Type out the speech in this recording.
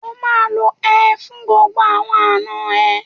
O máa lo ẹ fún gbogbo àwọn àna ẹ.